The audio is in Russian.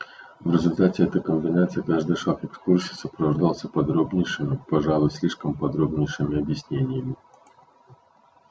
в результате этой комбинации каждый шаг экскурсии сопровождался подробнейшими пожалуй слишком подробнейшими объяснениями